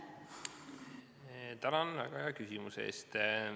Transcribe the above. Tänan väga hea küsimuse eest!